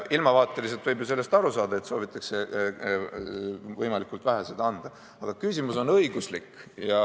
Ilmavaateliselt võib ju sellest aru saada, et soovitakse võimalikult vähe seda anda, aga küsimus on õiguslik.